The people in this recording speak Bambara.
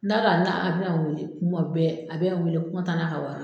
N'a ka n'a a bɛ a wele, kuma bɛ a bɛ a wele ko nka taa n'a ka wari ye.